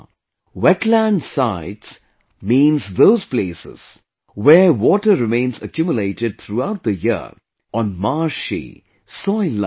'Wetland sites' means those places where water remains accumulated throughout the year on marshy soillike land